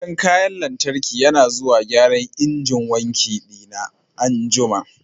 Mai gyaran kayan lantarki yana zuwa gyaran injin wanki dina an'jumma.